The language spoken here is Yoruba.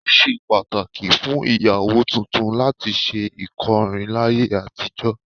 Ó ṣe pàtàkì fún ìyàwó tuntun láti ṣe ìkọrún láyé àtijọ́